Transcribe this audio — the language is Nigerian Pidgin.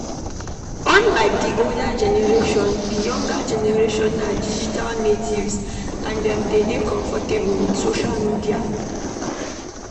unlike di older generation, di younger generation na digital natives and dem de dey comfortable with social media